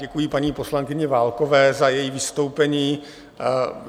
Děkuji paní poslankyni Válkové za její vystoupení.